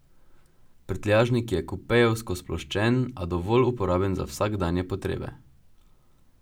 Prtljažnik je kupejevsko sploščen, a dovolj uporaben za vsakdanje potrebe.